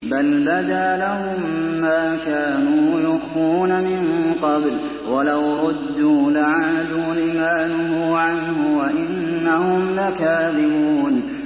بَلْ بَدَا لَهُم مَّا كَانُوا يُخْفُونَ مِن قَبْلُ ۖ وَلَوْ رُدُّوا لَعَادُوا لِمَا نُهُوا عَنْهُ وَإِنَّهُمْ لَكَاذِبُونَ